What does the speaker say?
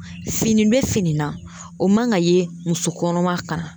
Fini be fini na o man ka ye muso kɔnɔma ka na